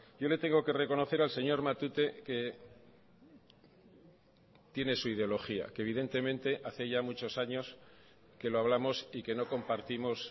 yo le tengo que reconocer al señor matute que tiene su ideología que evidentemente hace ya muchos años que lo hablamos y que no compartimos